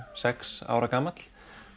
sex ára gamall